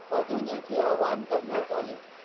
पाठवण्याचे आवाहन करण्यात आले